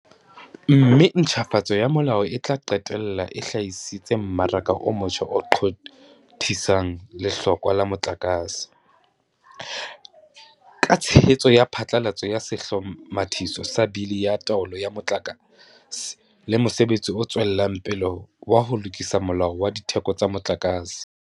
Mme ntjhafatso ya molao e tla qetella e hlahisitse mmaraka o motjha o qothisang lehlokwa la motlakase, ka tshehetso ya phatlalatso ya Sehlomathiso sa Bili ya Taolo ya Motlaka se le mosebetsi o tswelang pele wa ho lokisa Molao wa Ditheko tsa Motlakase.